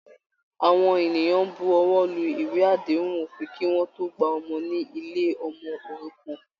Àwọn ènìyàn ń bu ọwọ́ lu ìwé àdéhùn òfin kí wọ́n tó gba ọmọ ní ilé ọmọ òrukàn